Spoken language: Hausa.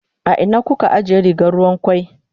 A ina kuka ajiye rigar ruwan kwai?